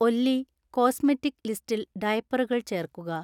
ഒല്ലി cosmetic ലിസ്റ്റിൽ ഡയപ്പറുകൾ ചേർക്കുക